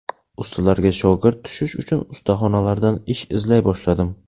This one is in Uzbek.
Ustalarga shogird tushish uchun ustaxonalardan ish izlay boshladim.